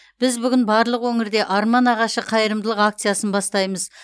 біз бүгін барлық өңірде арман ағашы қайырымдылық акциясын бастаймыз